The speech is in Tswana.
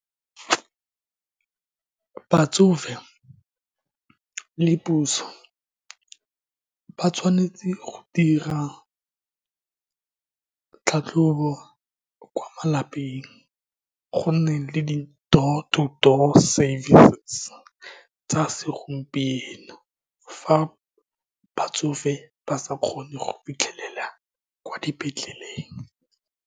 Batsofe le puso ba tshwanetse go dira tlhatlhobo kwa malapeng, go nne le di door-to-door service tsa segompieno fa batsofe ba sa kgone go fitlhelela kwa dipetleleng.